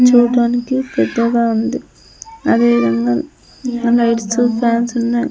చూడటానికి పెద్దగా ఉంది అదేవిధంగా ఇంకా లైట్స్ ఫ్యాన్స్ ఉన్నాయి.